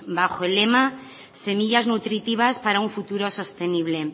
bajo el lema semillas nutritivas para un futuro sostenible